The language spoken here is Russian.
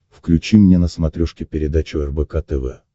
включи мне на смотрешке передачу рбк тв